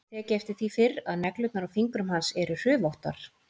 Ég hef ekki tekið eftir því fyrr að neglurnar á fingrum hans eru hrufóttar.